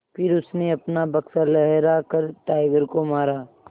फिर उसने अपना बक्सा लहरा कर टाइगर को मारा